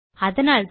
அதனால்தான்